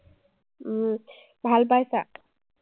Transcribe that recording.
উম ভাল পাইছা?